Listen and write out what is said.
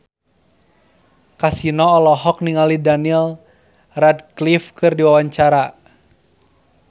Kasino olohok ningali Daniel Radcliffe keur diwawancara